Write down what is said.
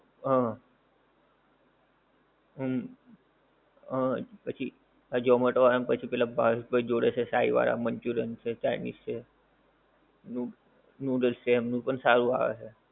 હં, હુંમ, હં પછી આ ઝોમેટો વાળાં ને પછી પેલાં પારસ ભાઈ જોડે છે સાઈ વાળાં મંચુરિયન છે, ચાઇનિજ છે, નૂડલ્સ છે, એમનું પણ સારું આવે છે.